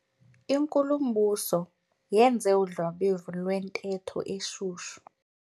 Inkulumbuso yenze udlwabevu lwentetho eshushu.